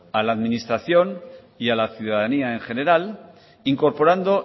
a la administración y a la ciudadanía en general incorporando